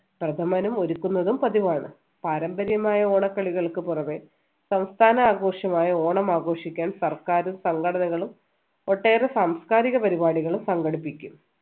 പ്രഥമനും ഒരുക്കുന്നതും പതിവാണ് പാരമ്പര്യമായ ഓണക്കളികൾക്ക് പുറമെ സംസ്ഥാന ആഘോഷമായ ഓണം ആഘോഷിക്കാൻ സർക്കാരും സംഘടനകളും ഒട്ടേറെ സംസ്കാരിക പരിപാടികളും സംഘടിപ്പിക്കും